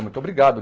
Muito obrigado.